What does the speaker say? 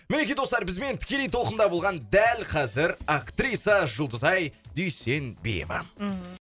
мінекей достар бізбен тікелей толқында болған дәл қазір актриса жұлдызай дүйсенбиева мхм